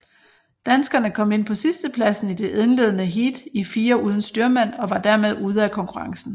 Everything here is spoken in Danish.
Danskerne kom ind på sidstepladsen i det indledende heat i firer uden styrmand og var dermed ude af konkurrencen